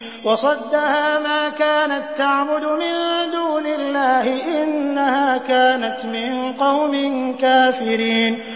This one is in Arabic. وَصَدَّهَا مَا كَانَت تَّعْبُدُ مِن دُونِ اللَّهِ ۖ إِنَّهَا كَانَتْ مِن قَوْمٍ كَافِرِينَ